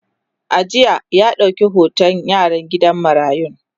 a jiya ya dauƙi hoton yaran gidan marayun